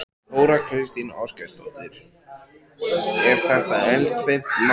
Þóra Kristín Ásgeirsdóttir: Er þetta eldfimt mál?